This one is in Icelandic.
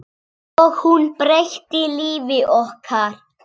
Og hún breytti lífi okkar.